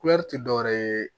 tɛ dɔwɛrɛ ye